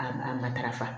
A a matarafa